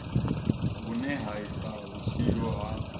vhune ha isa vhutshilo ha